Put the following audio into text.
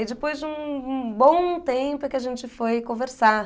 E aí depois de um um um bom tempo é que a gente foi conversar.